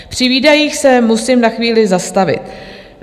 Při výdajích se musím na chvíli zastavit.